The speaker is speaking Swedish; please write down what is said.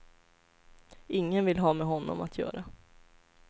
Ingen vill ha med honom att göra.